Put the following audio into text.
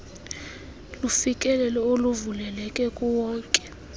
lufikelelo oluvuleleke kuwonke